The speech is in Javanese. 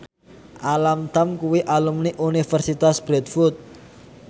Alam Tam kuwi alumni Universitas Bradford